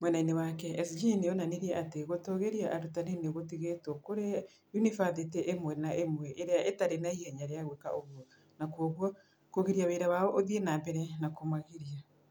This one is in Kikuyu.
Mwena-inĩ wake, SG nĩ onanirie atĩ gũtũũgĩria arutani nĩ gũtigĩtwo kũrĩ yunibathĩtĩ ĩmwe na ĩmwe ĩrĩa ĩtarĩ na ihenya rĩa gwĩka ũguo, na kwoguo kũgiria wĩra wao ũthiĩ na mbere na kũmagiria.